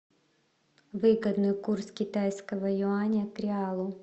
выгодный курс китайского юаня к реалу